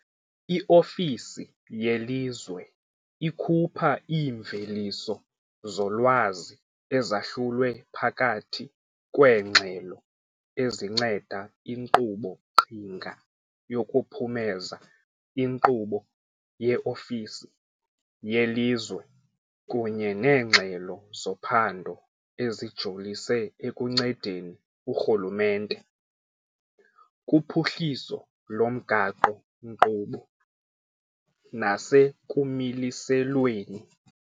I-ofisi yelizwe ikhupha iimveliso zolwazi ezahlulwe phakathi kweengxelo ezinceda inkqubo-qhinga yokuphumeza inkqubo ye-ofisi yelizwe kunye neengxelo zophando ezijolise ekuncedeni urhulumente kuphuhliso lomgaqo-nkqubo nasekumiliselweni.